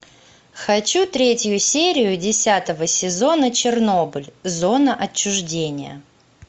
хочу третью серию десятого сезона чернобыль зона отчуждения